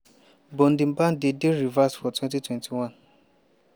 but di ban dey dey reversed for 2021.